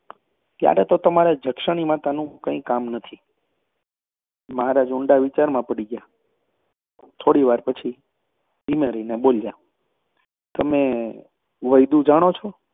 ત્યારે તો તમારે જક્ષણી માતાનું કાંઈ કામ નથી. મહારાજ ઊંડા વિચારમાં પડી બોલ્યા તમે વૈદું જાણો છો?